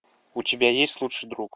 у тебя есть лучший друг